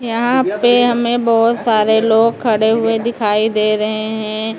यहां पे हमें बहोत सारे लोग खड़े हुए दिखाई दे रहे हैं।